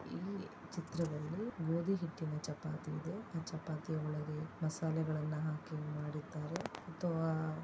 ಈ ಚಿತ್ರದಲ್ಲಿ ಗೋಧಿ ಹಿಟ್ಟಿನ ಚಪಾತಿ ಇದೆ. ಅ ಚಪಾತಿ ಒಳಗೆ ಮಸಾಲೆಗಳನ್ನು ಹಾಕಿ ಮಾಡಿದ್ದಾರೆ ಅಥವಾ--